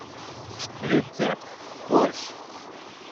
рецепт борщ